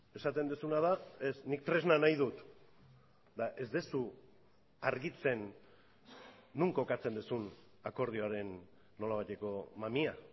esaten duzuna da ez nik tresna nahi dut eta ez duzu argitzen non kokatzen duzun akordioaren nolabaiteko mamia